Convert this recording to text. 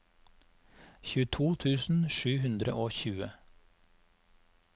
tjueto tusen sju hundre og tjue